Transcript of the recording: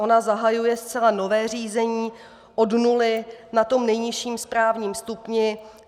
Ona zahajuje zcela nové řízení od nuly, na tom nejnižším správním stupni.